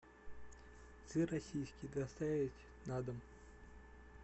сыр российский доставить на дом